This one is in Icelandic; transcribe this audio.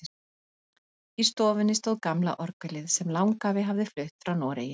Í stofunni stóð gamla orgelið sem langafi hafði flutt frá Noregi.